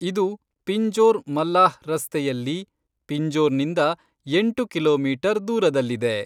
ಇದು ಪಿಂಜೋರ್ ಮಲ್ಲಾಹ್ ರಸ್ತೆಯಲ್ಲಿ ಪಿಂಜೋರ್ನಿಂದ ಎಂಟು ಕಿಲೋಮೀಟರ್ ದೂರದಲ್ಲಿದೆ.